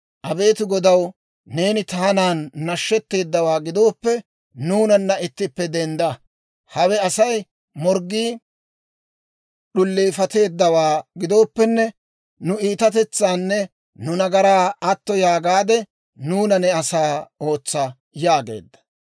«Abeet Godaw, neeni taanan nashshetteedawaa gidooppe, nuunanna ittippe dendda. Hawe Asay morggii d'uleefatteeddawaa gidooppenne, nu iitatetsaanne nu nagaraa atto yaagaadde, nuuna ne asaa ootsa» yaageedda.